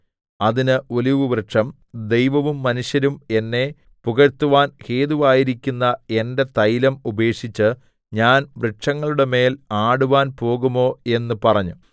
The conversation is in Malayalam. അതിന് ഒലിവുവൃക്ഷം ദൈവവും മനുഷ്യരും എന്നെ പുകഴ്ത്തുവാൻ ഹേതുവായിരിക്കുന്ന എന്റെ തൈലം ഉപേക്ഷിച്ച് ഞാൻ വൃക്ഷങ്ങളുടെമേൽ ആടുവാൻ പോകുമോ എന്ന് പറഞ്ഞു